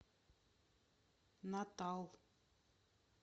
натал